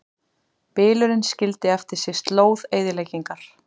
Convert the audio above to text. Bylurinn skildi eftir sig slóð eyðileggingar